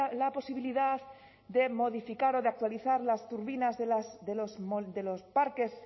la posibilidad de modificar o de actualizar las turbinas de los parques